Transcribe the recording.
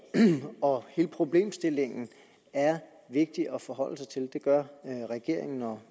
og hele problemstillingen er vigtig at forholde sig til det gør regeringen og